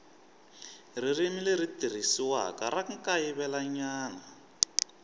ririmi leri tirhisiwaka ra kayivelanyana